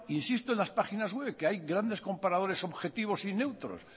insisto en las páginas web que hay grandes comparadores objetivos y neutros